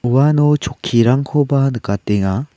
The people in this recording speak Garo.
uano chokkirangkoba nikatenga.